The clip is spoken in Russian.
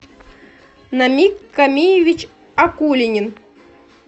намик камиевич акулинин